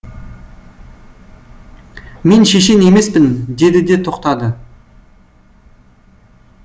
мен шешен емеспін деді де тоқтады